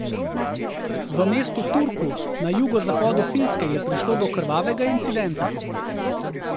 V mestu Turku na jugozahodu Finske je prišlo do krvavega incidenta.